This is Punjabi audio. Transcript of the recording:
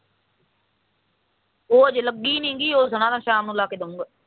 ਉਹ ਹਜੇ ਲੱਗੀ ਨੀ ਗਈ ਉਹ ਸਣਾ ਕਹਿੰਦਾ ਸ਼ਾਮ ਨੂੰ ਲਾ ਕੇ ਦੁੰਗਾ